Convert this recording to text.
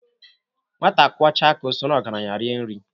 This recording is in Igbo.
Nwata kwochaa aka o soro ogaranya rie nri.